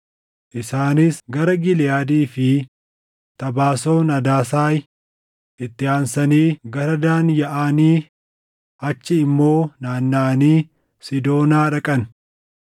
Isaanis gara Giliʼaadii fi Tabaason Adasaay, itti aansanii gara Daan yaaʼanii achii immoo naannaʼanii Siidoonaa dhaqan.